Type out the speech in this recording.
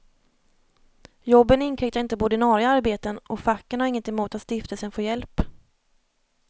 Jobben inkräktar inte på ordinarie arbeten, och facken har inget emot att stiftelsen får hjälp.